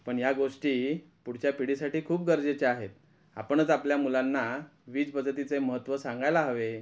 पण ह्या गोष्टी पुढच्या पिढीसाठी खूप गरजेच्या आहेत आपणच आपल्या मुलांना वीज बचतीचे महत्त्व सांगायला हवे.